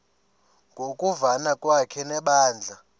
ngokuvana kwakhe nebandla